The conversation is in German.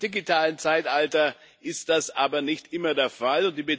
Im digitalen Zeitalter ist das aber nicht immer der Fall.